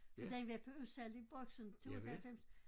For den var på udsalg i boksen på 2 95